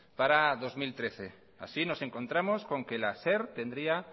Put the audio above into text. para dos mil trece así nos encontramos con que la ser tendría